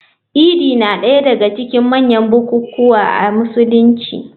Idi na daya daga cikin manyan bukukuwa a Musulunci.